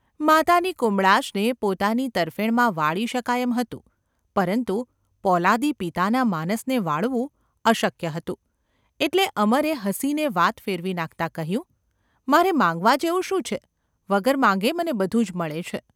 માતાની કુમળાશને પોતાની તરફેણમાં વાળી શકાય એમ હતું, પરંતુ પોલાદી પિતાના માનસને વાળવું અશક્ય હતું એટલે અમરે હસીને વાત ફેરવી નાખતાં કહ્યું : ‘મારે માંગવા જેવું શું છે ? વગર માગે મને બધું જ મળે છે.